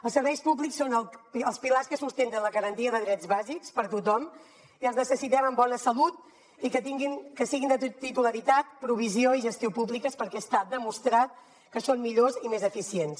els serveis públics són els pilars que sustenten la garantia de drets bàsics per a tothom i els necessitem amb bona salut i que siguin de titularitat provisió i gestió públiques perquè està demostrat que són millors i més eficients